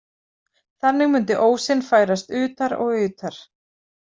Þannig mundi ósinn færast utar og utar.